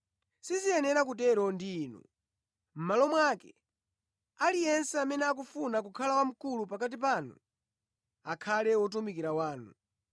Siziyenera kutero ndi inu. Mʼmalo mwake, aliyense amene akufuna kukhala wamkulu pakati panu akhale wotumikira wanu.